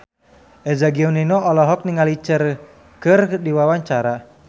Eza Gionino olohok ningali Cher keur diwawancara